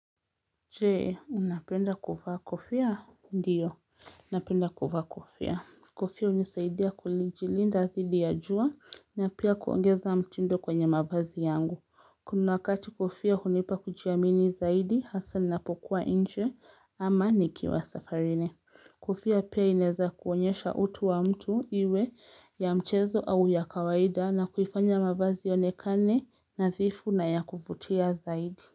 Jee, unapenda kuvaa kofia? Ndiyo, napenda kuvaa kofia. Kofia hunisaidia kujilinda dhidi ya jua na pia kuongeza mtindo kwenye mavazi yangu. Kuna wakati kofia hunipa kujiamini zaidi hasa napokuwa nje ama nikiwa safarini. Kofia pia inaeza kuonyesha utu wa mtu iwe ya mchezo au ya kawaida na kuifanya mavazi yaonekane nadhifu na ya kuvutia zaidi.